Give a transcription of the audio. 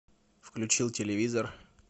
включил телевизор